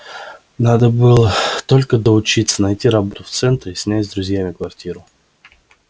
надо было только доучиться найти работу в центре и снять с друзьями квартиру